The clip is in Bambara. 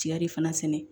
Tiga de fana